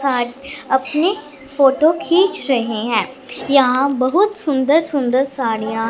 साथ अपनी फोटो खींच रहे हैं यहां बहुत सुंदर सुंदर साड़ियां--